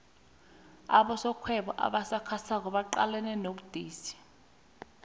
abosomarhwebo abasakhasako baqalene nobudisi